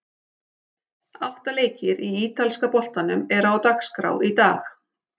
Átta leikir í ítalska boltanum eru á dagskrá í dag.